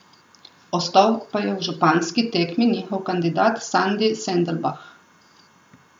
Ostal pa je v županski tekmi njihov kandidat Sandi Sendelbah.